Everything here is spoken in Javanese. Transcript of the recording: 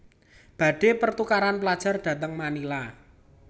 Badhe pertukaran pelajar dhateng Manila